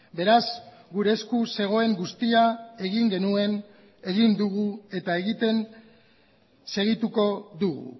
beraz gure esku zegoen guztia egin genuen egin dugu eta egiten segituko dugu